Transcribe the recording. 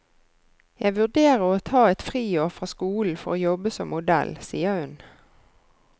Jeg vurderer å ta et friår fra skolen for å jobbe som modell, sier hun.